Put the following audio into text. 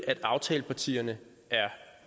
at aftalepartierne er